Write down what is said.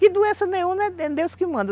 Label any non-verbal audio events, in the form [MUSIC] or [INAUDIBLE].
Que doença nenhuma é [HESITATION] Deus que manda.